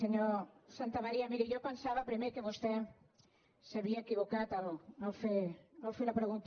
senyor santamaría miri jo pensava primer que vostè s’havia equivocat al fer la pregunta